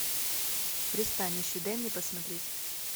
пристанище дай мне посмотреть